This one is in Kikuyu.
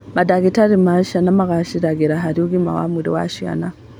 Mandagĩtarĩ ma ciana magacĩraga harĩ ũgima wa mwĩrĩ wa ciana